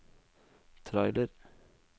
trailer